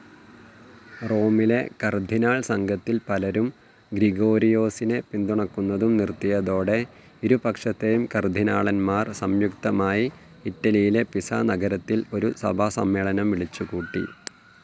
റോമിലെ കർദ്ദിനാൾസംഘത്തിൽ പലരും ഗ്രിഗോരിയോസിനെ പിന്തുണക്കുന്നതും നിർത്തിയതോടെ ഇരുപക്ഷത്തേയും കർദ്ദിനാളന്മാർ സംയുക്തമായി, ഇറ്റലിയിലെ പിസാ നഗരത്തിൽ ഒരു സഭാസമ്മേളനം വിളിച്ചുകൂട്ടി.